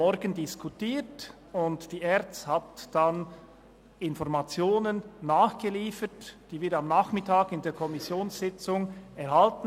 Die ERZ lieferte dann Informationen nach, die wir am Nachmittag der Kommissionssitzung erhielten.